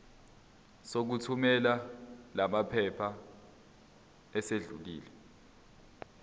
sokuthumela lamaphepha sesidlulile